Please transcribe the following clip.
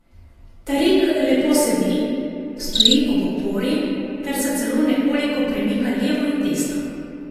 Tarik lepo sedi, stoji ob opori ter se celo nekoliko premika levo in desno.